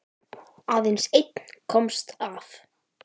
Aðeins einn komst af.